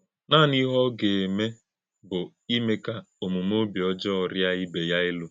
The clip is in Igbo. Nanị̄ ìhè̄ ọ gà - àmè̄ bụ́ ímè̄ kà òmùmè̄ òbí ọ́jọọ̄ rìá̄ ìbé̄ ya èlú̄.